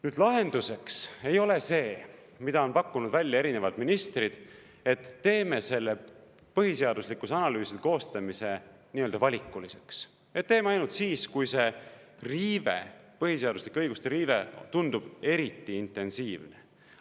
Nüüd, lahenduseks ei ole see, mida on pakkunud välja erinevad ministrid, et teeme põhiseaduslikkuse analüüside koostamise valikuliseks, et teeme ainult siis, kui see riive, põhiseaduslike õiguste riive tundub eriti intensiivne.